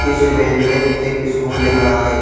इस इमेज में एक स्कूल दिख रहा है।